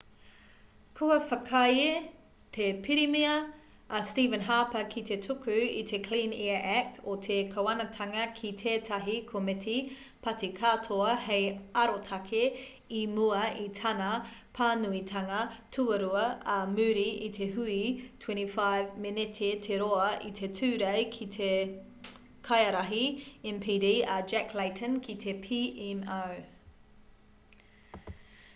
kua whakaae te pirimia a stephen harper ki te tuku i te clean air act o te kāwanatanga ki tētahi komiti pāti-katoa hei arotake i mua i tana pānuitanga tuarua ā muri i te hui 25 meneti te roa i te tūrei ki te kaiārahi npd a jack layton ki te pmo